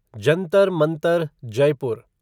Jantar Mantar Jaipur